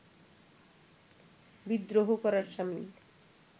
বিদ্রোহ করার সামিল